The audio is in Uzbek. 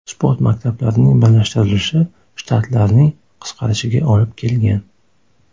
Sport maktablarining birlashtirilishi shtatlarning qisqarishiga olib kelgan.